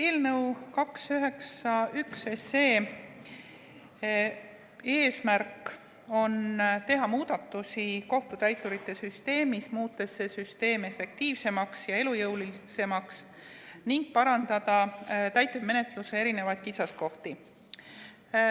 Eelnõu 291 eesmärk on teha muudatusi kohtutäiturite süsteemis, muutes seda süsteemi efektiivsemaks ja elujõulisemaks, ning parandada täitemenetluse erinevaid kitsaskohti.